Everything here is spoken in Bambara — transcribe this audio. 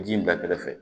Ji in bila kɛrɛfɛ